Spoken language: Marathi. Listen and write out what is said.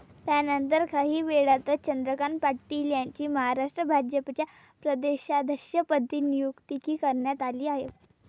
त्यानंतर, काहीवेळातच चंद्रकांत पाटील यांची महाराष्ट्र भाजपच्या प्रदेशाध्यक्षपदी नियुक्ती करण्यात आली आहे.